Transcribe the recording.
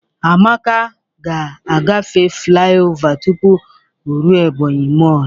Amaka ga-agafe flai ova tụpụ o rue Ebonyi mọl.